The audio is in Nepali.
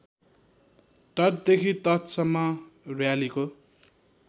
तटदेखि तटसम्म र्‍यालीको